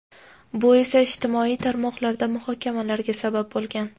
Bu esa ijtimoiy tarmoqlarda muhokamalarga sabab bo‘lgan.